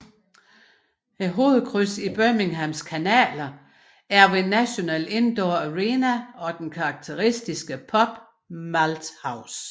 Hovedkrydset i Birminghams kanaler er ved National Indoor Arena og den karakteristiske pub Malt House